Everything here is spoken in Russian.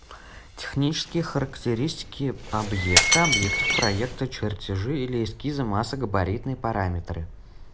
технические характеристики объекта объектов проекта чертежи или эскизы масса габаритные параметры